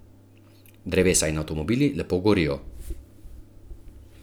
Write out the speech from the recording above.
Drevesa in avtomobili lepo gorijo.